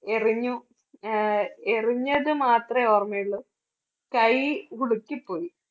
എറിഞ്ഞു ആഹ് എറിഞ്ഞത് മാത്രമേ ഓർമ്മയുള്ളൂ, കൈ ഉളുക്കി പോയി.